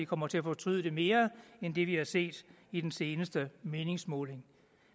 kommer til at fortryde det mere end det vi har set i den seneste meningsmåling